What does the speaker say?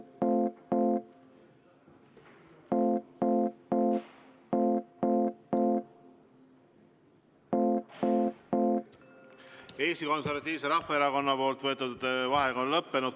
Eesti Konservatiivse Rahvaerakonna võetud vaheaeg on lõppenud.